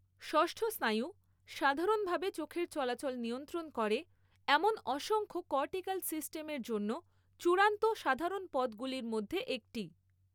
ষষ্ঠ স্নায়ু সাধারণভাবে চোখের চলাচল নিয়ন্ত্রণ করে এমন অসংখ্য কর্টিকাল সিস্টেমের জন্য চূড়ান্ত সাধারণ পথগুলির মধ্যে একটি।